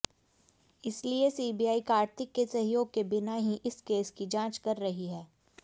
इसलिए सीबीआई कार्ति के सहयोग के बिना ही इस केस की जांच कर रही है